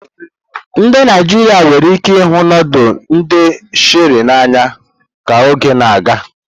Ndị Naijiria nwere ike ịhụ nudulu ndi Sherie n'anya ka oge na-aga.